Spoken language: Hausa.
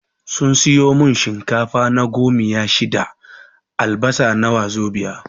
Sun siyo mun shinkafa na gomiya shida, albasa na wazobiya